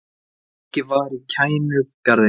Leikið var í Kænugarði